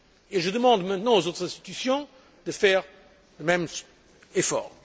Et je demande maintenant aux autres institutions de faire le même effort.